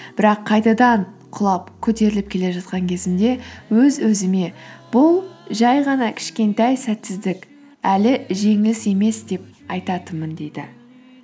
бірақ қайтадан құлап көтеріліп келе жатқан кезімде өз өзіме бұл жай ғана кішкентай сәтсіздік әлі жеңіс емес деп айтатынмын дейді